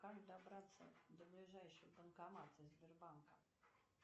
как добраться до ближайшего банкомата сбербанка